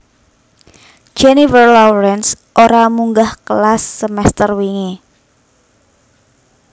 Jennifer Lawrence ora munggah kelas semester wingi